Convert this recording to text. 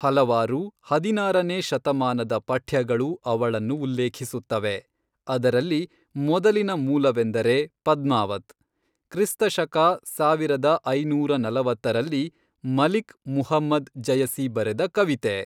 ಹಲವಾರು ಹದಿನಾರನೇ ಶತಮಾನದ ಪಠ್ಯಗಳು ಅವಳನ್ನು ಉಲ್ಲೇಖಿಸುತ್ತವೆ, ಅದರಲ್ಲಿ ಮೊದಲಿನ ಮೂಲವೆಂದರೆ ಪದ್ಮಾವತ್, ಕ್ರಿಸ್ತ ಶಕ ಸಾವಿರದ ಐನೂರ ನಲವತ್ತರಲ್ಲಿ ಮಲಿಕ್ ಮುಹಮ್ಮದ್ ಜಯಸಿ ಬರೆದ ಕವಿತೆ.